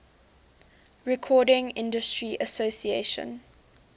recording industry association